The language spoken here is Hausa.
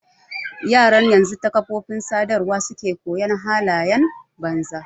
Yaran yanzu ta kafofin sadarwa suke koyon halayen banza.